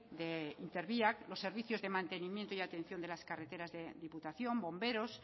de interbiak los servicios de mantenimiento y atención de las carreteras de diputación bomberos